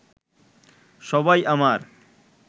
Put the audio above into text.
সবাই আমার